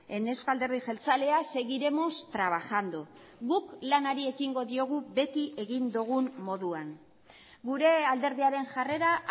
en euzko alderdi jeltzalea seguiremos trabajando guk lanari ekingo diogu beti egin dugun moduan gure alderdiaren jarrera